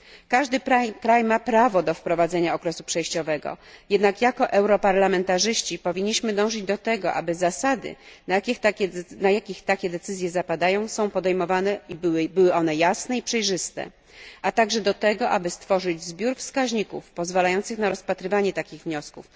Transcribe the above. Każdy kraj ma prawo do wprowadzenia okresu przejściowego, jednak jako europarlamentarzyści powinniśmy dążyć do tego, aby zasady, na jakich takie decyzje są podejmowane, były jasne i przejrzyste, a także do tego, aby stworzyć zbiór wskaźników pozwalających na rozpatrywanie takich wniosków.